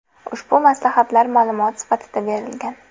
Ushbu maslahatlar ma’lumot sifatida berilgan.